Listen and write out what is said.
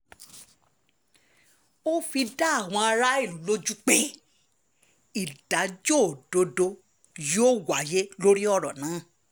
ó fi dá àwọn aráàlú lójú pé ìdájọ́ òdodo yóò wáyé lórí ọ̀rọ̀ náà